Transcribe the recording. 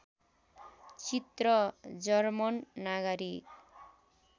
चित्र जर्मन नागरिक